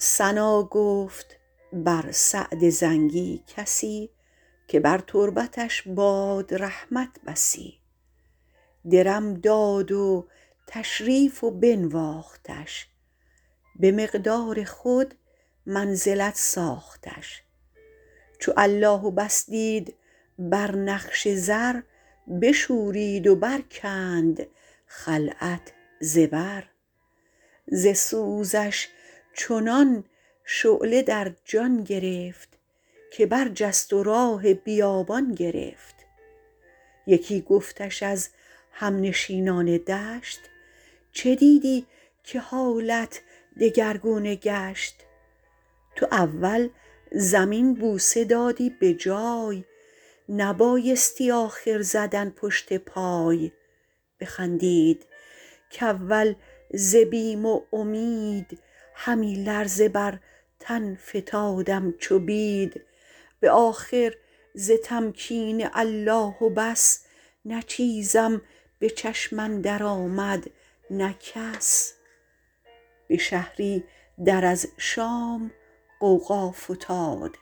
ثنا گفت بر سعد زنگی کسی که بر تربتش باد رحمت بسی درم داد و تشریف و بنواختش به مقدار خود منزلت ساختش چو الله و بس دید بر نقش زر بشورید و برکند خلعت ز بر ز سوزش چنان شعله در جان گرفت که برجست و راه بیابان گرفت یکی گفتش از همنشینان دشت چه دیدی که حالت دگرگونه گشت تو اول زمین بوسه دادی به جای نبایستی آخر زدن پشت پای بخندید کاول ز بیم و امید همی لرزه بر تن فتادم چو بید به آخر ز تمکین الله و بس نه چیزم به چشم اندر آمد نه کس به شهری در از شام غوغا فتاد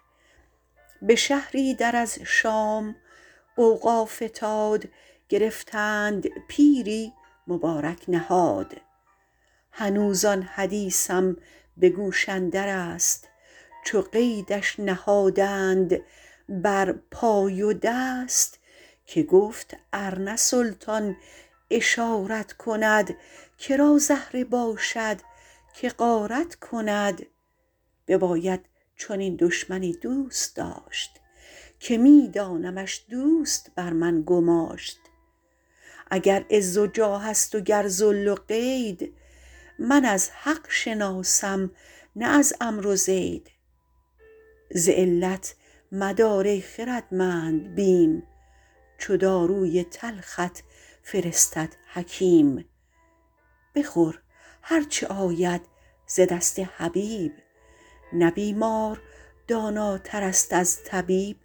گرفتند پیری مبارک نهاد هنوز آن حدیثم به گوش اندر است چو قیدش نهادند بر پای و دست که گفت ار نه سلطان اشارت کند که را زهره باشد که غارت کند بباید چنین دشمنی دوست داشت که می دانمش دوست بر من گماشت اگر عز و جاه است و گر ذل و قید من از حق شناسم نه از عمرو و زید ز علت مدار ای خردمند بیم چو داروی تلخت فرستد حکیم بخور هرچه آید ز دست حبیب نه بیمار داناتر است از طبیب